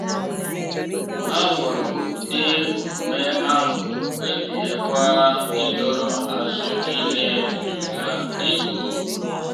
ha hụrụ ụdị omume ahụ kpebiekwa ịdọrọ azụ n’ihe metụtara ego.